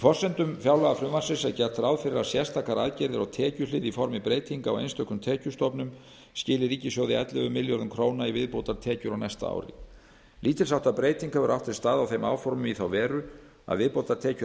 forsendum fjárlagafrumvarpsins er gert ráð fyrir að sérstakar aðgerðir á tekjuhlið í formi breytinga á einstökum tekjustofnum skili ríkissjóði ellefu milljörðum króna í viðbótartekjur á næsta ári lítils háttar breyting hefur átt sér stað á þeim áformum í þá veru að viðbótartekjur